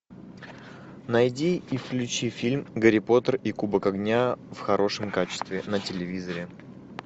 найди и включи фильм гарри поттер и кубок огня в хорошем качестве на телевизоре